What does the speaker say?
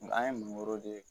An ye mangoro di